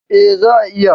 E, za'a iya.